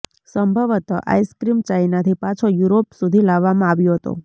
સંભવતઃ આઈસ્ક્રીમ ચાઇનાથી પાછો યુરોપ સુધી લાવવામાં આવ્યો હતો